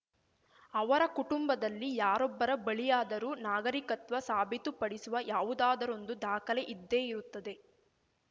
ಅವರ ಕುಟುಂಬದಲ್ಲಿ ಯಾರೊಬ್ಬರ ಬಳಿಯಾದರೂ ನಾಗರಿಕತ್ವ ಸಾಬೀತುಪಡಿಸುವ ಯಾವುದಾದರೊಂದು ದಾಖಲೆ ಇದ್ದೇ ಇರುತ್ತದೆ